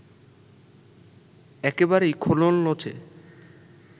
একেবারেই খোলনলচে